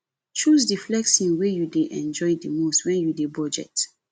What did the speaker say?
choose di flexing wey you dey enjoy di most when you dey budget